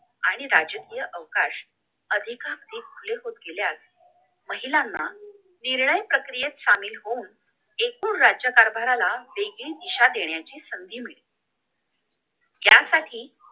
आणि राजकीय अवकाश अधिक अधिक खुले होत गेले आहेत महिलांना निर्णय प्रक्रियेत सामील होऊन एकूण राज्य कारभाराला वेगळी दिशा देण्याची संधी मिळेल यासाठी